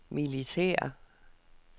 militære